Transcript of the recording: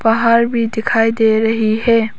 घर भी दिखाई दे रही है।